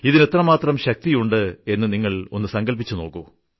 ഇതിന് എത്രമാത്രം ശക്തിയുണ്ടെന്ന് നിങ്ങൾ ഒന്ന് സങ്കല്പിച്ചു നോക്കൂ